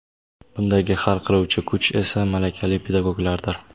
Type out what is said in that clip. Bundagi hal qiluvchi kuch esa - malakali pedagoglardir.